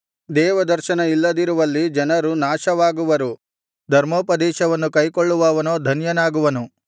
ದೇವದರ್ಶನ ಇಲ್ಲದಿರುವಲ್ಲಿ ಜನರು ನಾಶವಾಗುವರು ಧರ್ಮೋಪದೇಶವನ್ನು ಕೈಕೊಳ್ಳುವವನೋ ಧನ್ಯನಾಗುವನು